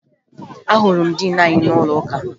Ahụrụ m diin anyị n'ụlọụka